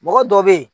Mɔgɔ dɔ bɛ ye